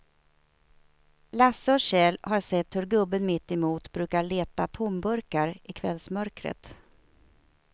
Lasse och Kjell har sett hur gubben mittemot brukar leta tomburkar i kvällsmörkret.